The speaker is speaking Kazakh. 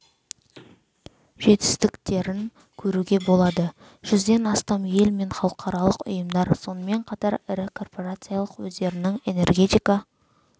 жетістіктерін көруге болады жүзден астам ел мен халықаралық ұйымдар сонымен қатар ірі корпорациялар өздерінің энергетика